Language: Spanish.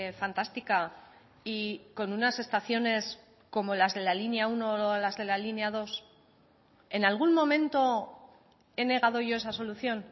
fantástica y con unas estaciones como las de la línea uno o las de la línea dos en algún momento he negado yo esa solución